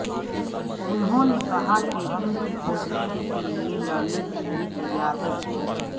انہوں نے کہا کہ ان کی پوزیشن کے لئے لڑنے کے لئے تیار ہے